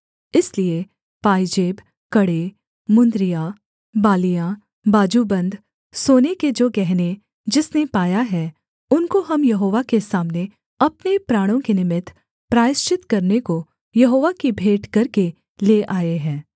इसलिए पायजेब कड़े मुंदरियाँ बालियाँ बाजूबन्द सोने के जो गहने जिसने पाया है उनको हम यहोवा के सामने अपने प्राणों के निमित्त प्रायश्चित करने को यहोवा की भेंट करके ले आए हैं